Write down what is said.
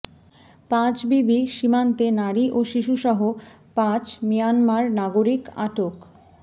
পাঁচবিবি সীমান্তে নারী ও শিশুসহ পাঁচ মিয়ানমার নাগরিক আটক